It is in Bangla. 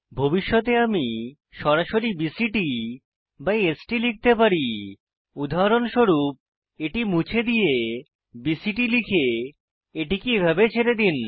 ভবিষ্যতে আমি সরাসরি বিসিটি এবং স্ট লিখতে পারি উদাহরণস্বরূপ এটি মুছে দিয়ে বিসিটি লিখে এটিকে এইভাবে ছেড়ে দিন